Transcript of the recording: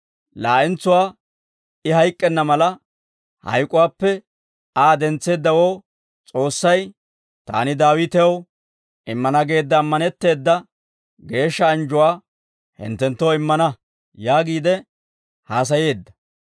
Laa'entsuwaa I hayk'k'enna mala, hayk'uwaappe Aa dentseeddawoo S'oossay, ‹Taani Daawitew immana geedda ammanetteeda geeshsha anjjuwaa hinttenttoo immana› yaagiide haasayeedda.